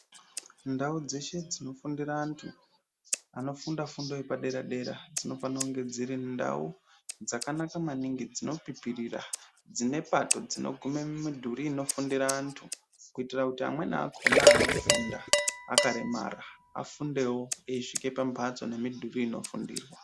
Ndau dzeshe dzinofundira antu anofunda fundo yepadera dzinofana kunge dziri ndau dzakanaka maningi dzinopipirira, dzinepato dzinogumire mumidhuri inofundire antu. Kuitire kuti amweni akona anofunda akaremara akonewo kusvike pambatso inemidhuri inofundirwa.